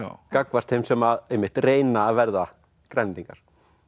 gagnvart þeim sem einmitt reyna að verða Grænlendingar